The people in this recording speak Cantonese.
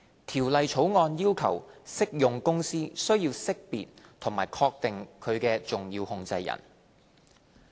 《條例草案》要求適用公司須識別和確定其重要控制人。